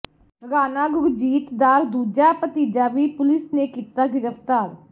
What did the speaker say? ਰਾਣਾ ਗੁਰਜੀਤ ਦਾ ਦੂਜਾ ਭਤੀਜਾ ਵੀ ਪੁਲਿਸ ਨੇ ਕੀਤਾ ਗ੍ਰਿਫਤਾਰ